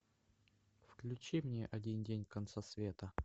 включи мне один день конца света